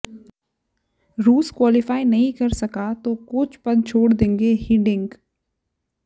रूस क्वालीफाई नहीं कर सका तो कोच पद छोड़ देगे हिडिंक